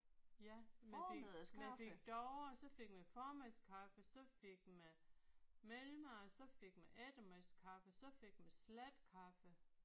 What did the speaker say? Ja man fik man fik davre så fik man formiddagskaffe så fik man mellemmad så fik man eftermiddagskaffe så fik man slatkaffe